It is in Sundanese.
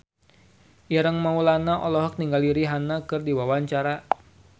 Ireng Maulana olohok ningali Rihanna keur diwawancara